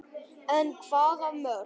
En hvaða mörk?